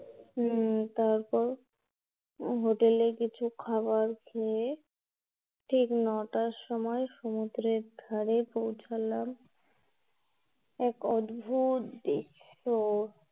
হুম, তারপর hotel এ কিছু খাবার খেয়ে, ঠিক নটার সময় সমুদ্রের ধারে পৌছালাম এক অদ্ভত দৃশ্য